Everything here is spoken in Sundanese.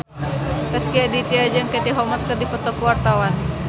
Rezky Aditya jeung Katie Holmes keur dipoto ku wartawan